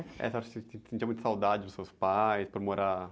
É, a senhora se, se, sentia muita saudade dos seus pais por morar?